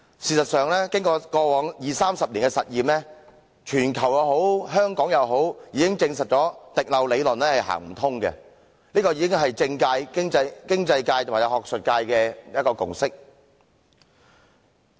事實上，經過過往二三十年的實驗，無論在全球或香港，已證實"滴漏理論"是行不通的，這已是政界、經濟界和學術界的共識。